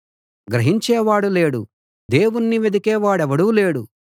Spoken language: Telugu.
గ్రహించేవాడెవడూ లేడు దేవుణ్ణి వెదికే వాడెవడూ లేడు